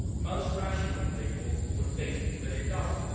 Most rational people would think that it does not.